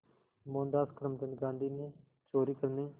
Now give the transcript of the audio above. मोहनदास करमचंद गांधी ने चोरी करने